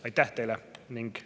Aitäh teile!